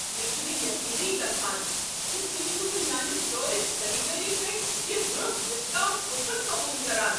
مےٚ چُھنہٕ یقینٕی گژھان ز تہۍ چھو نہٕ میانِہ سٹور چہ خریدٲری پیٹھ یہ درست ڈسکاؤنٹ کوپن قبول کران۔